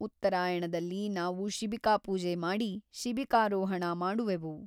ಉತ್ತರಾಯಣದಲ್ಲಿ ನಾವು ಶಿಬಿಕಾಪೂಜೆ ಮಾಡಿ ಶಿಬಿಕಾರೋಹಣ ಮಾಡುವೆವು.